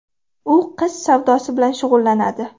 U qiz savdosi bilan shug‘ullanadi.